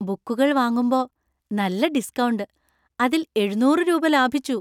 ബുക്കുകള്‍ വാങ്ങുമ്പോ നല്ല ഡിസ്‌ക്കൗണ്ട്. അതില്‍ എഴുനൂറു രൂപ ലാഭിച്ചു!